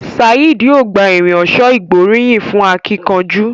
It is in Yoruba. Saheed yóò gbà Irin ọ̀ṣọ́ ìgbóríyìn fún akínkanjú.